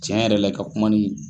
Cɛn yɛrɛ la i ka kumanin